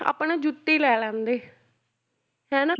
ਆਪਾਂ ਨਾ ਜੁੱਤੀ ਲੈ ਲੈਂਦੇ ਹਨਾ